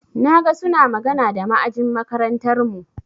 Na ga suna magana da ma'ajin makarantarmu.